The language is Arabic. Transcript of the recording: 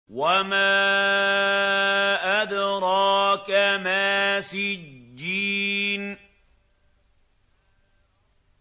وَمَا أَدْرَاكَ مَا سِجِّينٌ